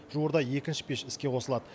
жуырда екінші пеш іске қосылады